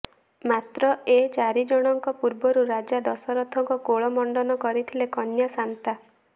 ମାତ୍ର ଏ ଚାରି ଜଣଙ୍କ ପୂର୍ବରୁ ରାଜା ଦଶରଥଙ୍କ କୋଳ ମଣ୍ଡନ କରିଥିଲେ କନ୍ୟା ଶାନ୍ତା